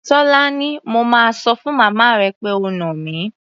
Tólání, mo máa sọ fún màmá pé o nà mí.